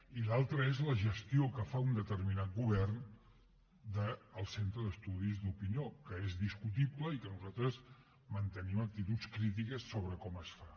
i l’altre és la gestió que fa un determinat govern del centre d’estudis d’opinió que és discutible i que nosaltres mantenim actituds crítiques sobre com es fa